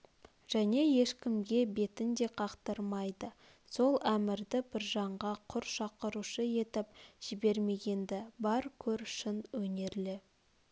және ешкімге бетін де қақтырмайды сол әмірді біржанға құр шақырушы етіп жібермеген-ді бар көр шын өнерлі